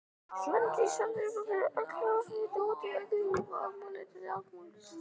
Svandís Svavarsdóttir Eru öll orð sem við notum venjulega í okkar máli til á táknmáli?